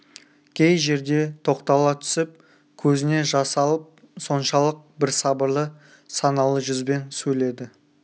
кей жерде тоқтала түсіп көзіне жас алып соншалық бір сабырлы саналы жүзбен сөйледі